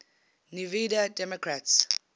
nevada democrats